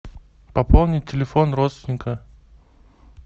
пополнить телефон родственника